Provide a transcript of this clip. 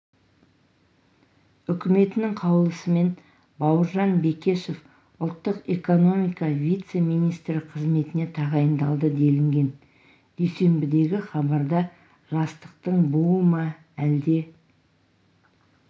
үкіметінің қаулысымен бауыржан бекешев ұлттық экономика вице-министрі қызметіне тағайындалды делінген дүйсенбідегі хабарда жастықтың буы ма әлде